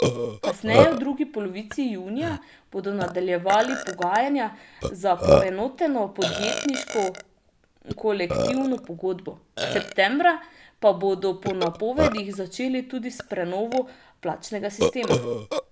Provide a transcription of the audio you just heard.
Najkasneje v drugi polovici junija bodo nadaljevali pogajanja za poenoteno podjetniško kolektivno pogodbo, septembra pa bodo po napovedih začeli tudi s prenovo plačnega sistema.